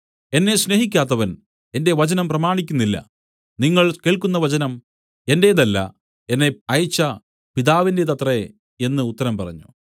എന്നെ സ്നേഹിക്കാത്തവൻ എന്റെ വചനം പ്രമാണിക്കുന്നില്ല നിങ്ങൾ കേൾക്കുന്ന വചനം എന്റേതല്ല എന്നെ അയച്ച പിതാവിന്റേതത്രേ എന്നു ഉത്തരം പറഞ്ഞു